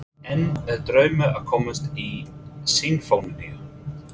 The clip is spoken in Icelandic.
En er draumur að komast í Sinfóníuna?